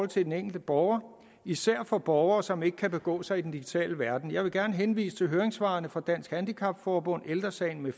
til den enkelte borger især for borgere som ikke kan begå sig i den digitale verden jeg vil gerne henvise til høringssvarene fra dansk handicap forbund ældre sagen